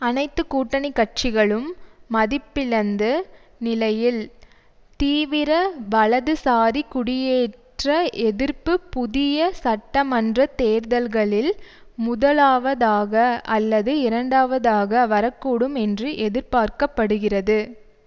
அனைத்து கூட்டணி கட்சிகளும் மதிப்பிழந்து நிலையில் தீவிர வலதுசாரி குடியேற்ற எதிர்ப்பு புதிய சட்டமன்ற தேர்தல்களில் முதலாவதாக அல்லது இரண்டாவதாக வரக்கூடும் என்று எதிர்பார்க்க படுகிறது